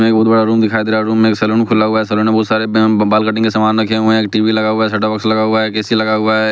एक बहुत बड़ा रूम दिखाई दे रहा है रूम में एक सैलून खुला हुआ है सैलून में बहुत सारे बैं बाल कटिंग के सामान रखे हुए हैं टी_वी लगा हुआ है सैट टॉप बॉक्स लगा हुआ है एक ए_सी लगा हुआ है।